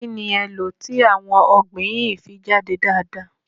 Kí ni e lọ̀ ti àwọn ọ̀gbìn yín fi jáde dáadáa?